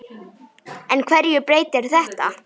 En hverju breytir þetta?